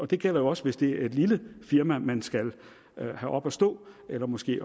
det gælder jo også hvis det er et lille firma man skal have op at stå eller måske